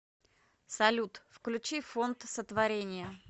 салют включи фонд сотворение